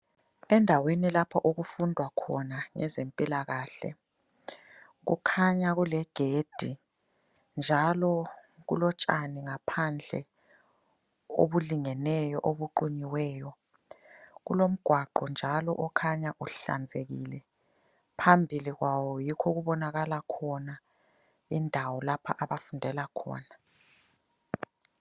Endaweni lapho okufundwa khona ngezempilakahle, kukhanya kulegedi, njalo kulotshani ngaphandle obulingeneyo obuqunyiweyo. Kulomgwaqo njalo okhanya uhlanzekile. Phambili kwawo yikho okubonakala khona indawo lapha abafundela khona.